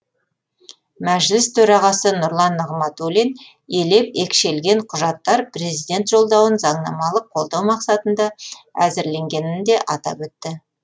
мәжіліс төрағасы нұрлан нығматулин елеп екшелген құжаттар президент жолдауын заңнамалық қолдау мақсатында әзірленгенін де атап өтті